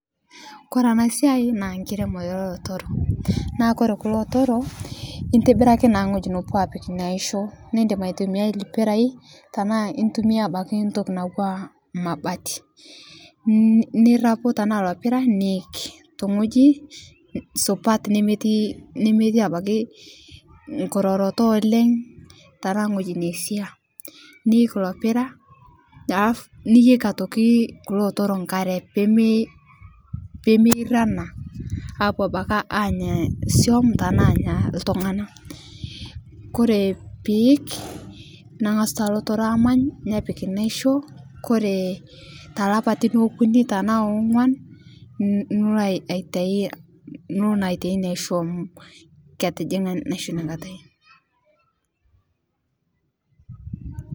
Kore ana siai naa nkiremoree elotoro naa kore kulo otoroo intibiraki naa ngoji nopuo apik inia aishoo nindim aitumiai lpirai tanaa intumia abaki ntoki natuwaa mabati nirapu tanaa ilo pira niik tong'oji supat nemetii, nemetii abakii nkuroroto oleng' tanaa ng'oji neisia niik ilo pira alafu niyeki otoki kulo otoro nkaree peme pemeirana apuo abaki anya suom tanaa anya ltung'ana kore piik nang'asu taa lotoro amany nepik naishoo kore talapatin okuni tanaa ong'uan nulo aitai niloo naa aitai inia aisho amu ketijing'a naisho inia katai.